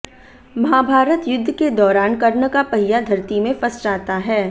महाभारत युद्ध के दौरान कर्ण का पहिया धरती में फंस जाता है